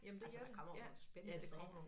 Altså der kommer jo nogen spændende sager